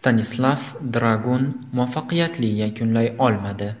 Stanislav Dragun muvaffaqiyatli yakunlay olmadi.